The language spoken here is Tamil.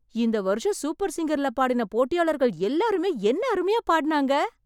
இந்த வருஷம் சூப்பர் சிங்கர்ல பாடின போட்டியாளர்கள் எல்லாருமே என்ன அருமையா பாடினாங்க...!